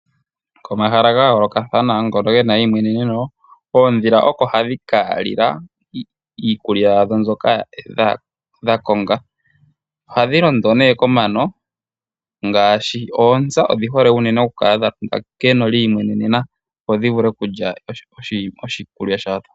Komahala ga yoolokathana ngono ge na eyimweneneno oondhila oko hadhi kalila iikulya yadho mbyoka dha konga oha dhi londo nee komano ngaashi oontsa odhi hole unene okukala dha londa keno dhiimwenenena opo dhi vule okulya oshikulya shadho.